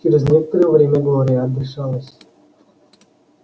через некоторое время глория отдышалась